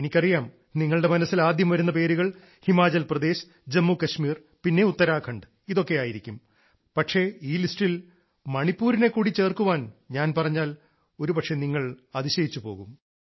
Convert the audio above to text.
എനിക്കറിയാം നിങ്ങളുടെ മനസ്സിൽ ആദ്യം വരുന്ന പേരുകൾ ഹിമാചൽ പ്രദേശ് ജമ്മു കാശ്മീർ പിന്നെ ഉത്തരാഖണ്ഡ് ആയിരിക്കും പക്ഷേ ഈ ലിസ്റ്റിൽ മണിപ്പൂരിനെ കൂടി ചേർക്കാൻ ഞാൻ പറഞ്ഞാൽ ഒരുപക്ഷേ നിങ്ങൾ അതിശയിച്ചു പോകും